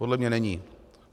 Podle mě není.